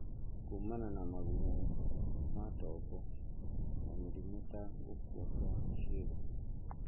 kumana na magurario ma tombo na mĩrimũ ta gũkua kwa cĩiga.